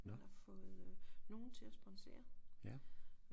Man har fået øh nogle til at sponsere